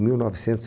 Mil novecentos e